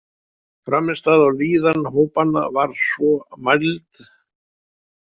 Frammistaða og líðan hópanna var svo mæld.